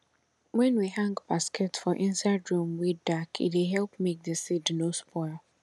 wen we hang basket for inside room wey dark e dey help make di seed nor spoil